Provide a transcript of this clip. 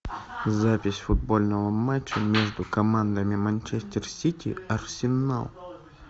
запись футбольного матча между командами манчестер сити арсенал